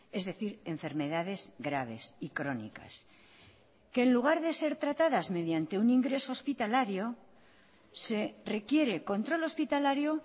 es decir enfermedades graves y crónicas que en lugar de ser tratadas mediante un ingreso hospitalario se requiere control hospitalario